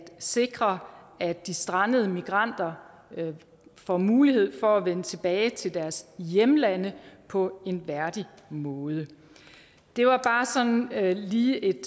sikre at de strandede migranter får mulighed for at vende tilbage til deres hjemlande på en værdig måde det var lige et